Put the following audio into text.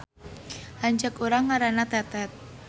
Lanceuk urang ngaranna Tetet